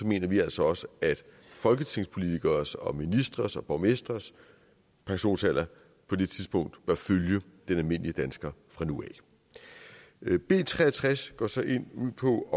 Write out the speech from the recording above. mener vi altså også at folketingspolitikeres og ministres og borgmestres pensionsalder på det tidspunkt bør følge den almindelige danskers fra nu af b tre og tres går så ud på at